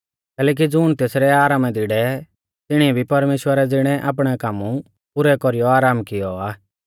कैलैकि ज़ुण तेसरै आरामा दी डेवै तिणीऐ भी परमेश्‍वरा ज़िणै आपणै काम पुरै कौरीयौ आराम कियौ आ